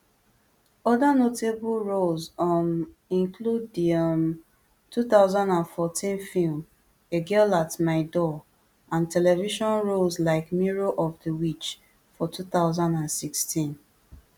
oda notable roles um include di um two thousand and fourteen film a girl at my door and television roles like mirror of di witch for two thousand and sixteen